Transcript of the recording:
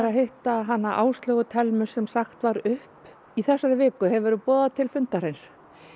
hitta hana Áslaugu Thelmu sem sagt var upp í þessari viku hefurðu boðað til fundarins